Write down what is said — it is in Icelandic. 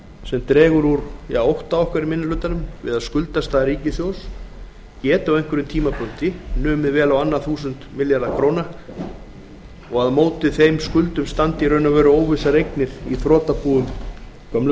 sem dregur úr ótta okkar í minni hlutanum við að skuldastaða ríkissjóðs geti á einhverjum tímapunkti numið vel á annað þúsund milljörðum króna og að á móti þeim skuldum standi óvissar eignir í þrotabúum gömlu